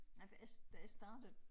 Nej for jeg da jeg startede